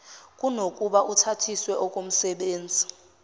kunokuba uthathiswe okomsebenzi